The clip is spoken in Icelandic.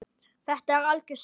Þetta er algjör synd.